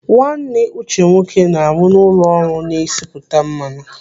Nwanne Uche nwoke na-arụ n'ụlọ ọrụ na-esipụta mmanụ.